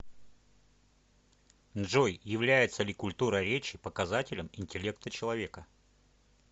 джой является ли культура речи показателем интеллекта человека